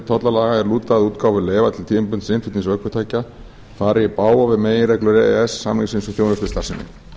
tollalaga er lúta að útgáfu leyfa til tímabundins innflutnings ökutækja fari í bága við meginreglur e e s samningsins um þjónustustarfsemi